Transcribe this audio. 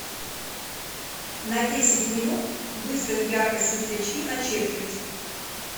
на десять минут выставь яркость светлячки на четверть